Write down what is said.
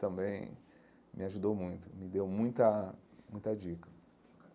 Também me ajudou muito, me deu muita muita dica.